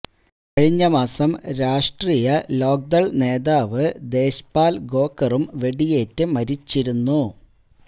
കഴിഞ്ഞ മാസം രാഷ്ട്രീയ ലോക്ദള് നേതാവ് ദേശ്പാല് ഖോക്കറും വെടിയേറ്റ് മരിച്ചിരുന്നു